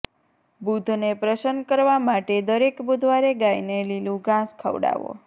બુધને પ્રસન્ન કરવા માટે દરેક બુધવારે ગાયને લીલું ઘાસ ખવડાવો